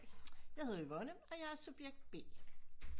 Jeg hedder Yvonne og jeg er subjekt B